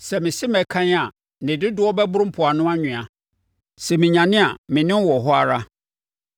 Sɛ mese mɛkan a, ne dodoɔ bɛboro mpoano anwea, sɛ menyane a, me ne wo wɔ hɔ ara.